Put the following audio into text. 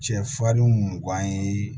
Cɛ farinw mugan ye